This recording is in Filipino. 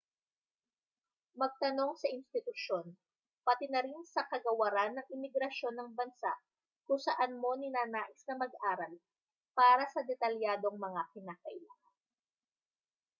magtanong sa institusyon pati na rin sa kagawaran ng imigrasyon ng bansa kung saan mo ninanais na mag-aral para sa detalyadong mga kinakailangan